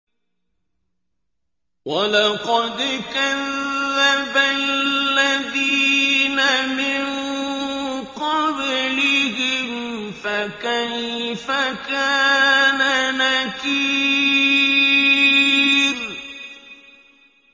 وَلَقَدْ كَذَّبَ الَّذِينَ مِن قَبْلِهِمْ فَكَيْفَ كَانَ نَكِيرِ